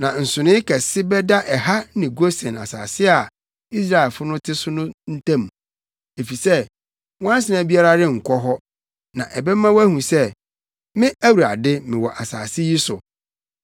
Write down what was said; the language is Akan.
“ ‘Na nsonoe kɛse bɛda ɛha ne Gosen asase a Israelfo no te so no ntam, efisɛ nwansena biara renkɔ hɔ. Na ɛbɛma woahu sɛ, me Awurade mewɔ asase yi so.